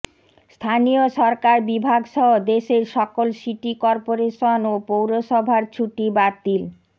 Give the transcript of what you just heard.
স্থানীয় সরকার বিভাগসহ দেশের সকল সিটি কর্পোরেশন ও পৌরসভার ছুটি বাতিল